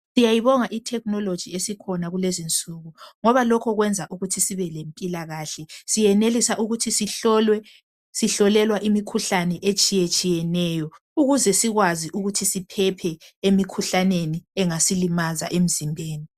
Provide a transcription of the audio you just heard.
Siyayibonga ithekinoloji esikhona kulezi nsuku ngoba lokho kwenza ukuthi sibe lempila kahle njalo siyenelisa ukuthi sihlolwe sihlolelwa imikhuhlane etsheyetshiyeneyo ukuze sikwazi ukuthi siphephe emikhuhlaneni engasi limaza emizimbeni